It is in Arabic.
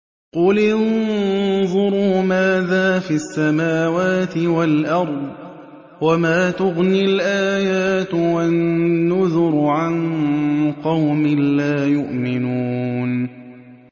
قُلِ انظُرُوا مَاذَا فِي السَّمَاوَاتِ وَالْأَرْضِ ۚ وَمَا تُغْنِي الْآيَاتُ وَالنُّذُرُ عَن قَوْمٍ لَّا يُؤْمِنُونَ